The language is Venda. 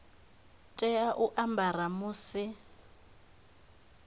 tea u a ambara musi